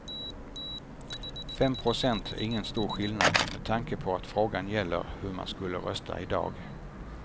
Fem procent är ingen stor skillnad med tanke på att frågan gäller hur man skulle rösta i dag.